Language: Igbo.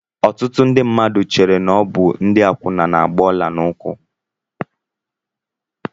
Ọtụtụ ndị mmadụ chéré na ọ bụ ndị akwuna na-agba ọla n'ụkwụ